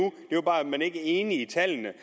man ikke var enig i tallene